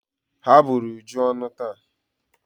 Ha bụrụ Uju ọnụ taa.